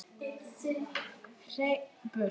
Herinn burt!